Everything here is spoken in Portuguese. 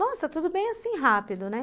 Nossa, tudo bem assim rápido, né?